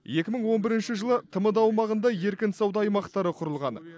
екі мың он бірінші жылы тмд аумағында еркін сауда аймақтары құрылған